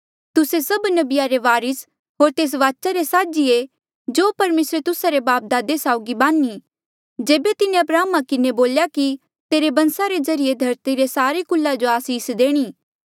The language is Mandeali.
तुस्से सभ नबिया रे वारिस होर तेस वाचा रे साझी ऐें जो परमेसरे तुस्सा रे बापदादे साउगी बान्ही जेबे तिन्हें अब्राहमा किन्हें बोल्या कि तेरे बंसा रे ज्रीए धरती रे सारे कुला जो आसीस देणी